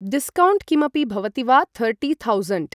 discount किमपि भवति वा थर्ट्टि थौसण्ड्